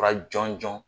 Fura jɔnjɔn